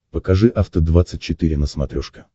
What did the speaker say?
покажи афта двадцать четыре на смотрешке